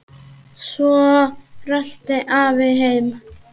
Svo rölti afi heim.